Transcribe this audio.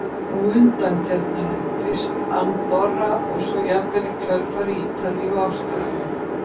Og undankeppnina, fyrst Andorra og svo jafnvel í kjölfarið Ítalíu og Ástralía?